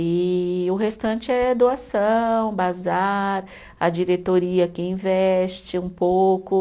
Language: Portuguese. E o restante é doação, bazar, a diretoria que investe um pouco.